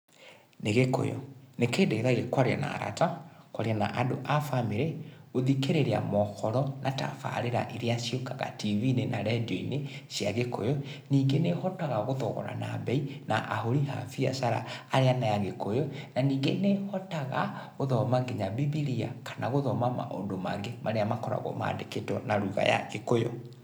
Nĩ gĩkũyũ. Nĩ kĩndeithagia kwaria na arata, kwaria na andũ a bamĩrĩ, gũthikĩrĩria mohoro na tabarĩra iria ciũkaga tibinĩ na rĩdio-inĩ cia gĩkũyũ. Ningĩ nĩ hotaga gũthogorana bei, na ahũri a biacara arĩa nĩ Agĩkũyũ, na ningĩ nĩ hotaga gũthoma nginya bibiria kana gũthoma maũndũ mangĩ marĩa makoragwo mandĩkĩtwo na lugha ya gĩkũyũ.